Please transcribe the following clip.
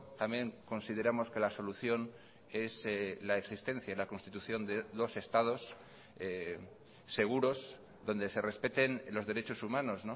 también consideramos que la solución es la existencia la constitución de dos estados seguros donde se respeten los derechos humanos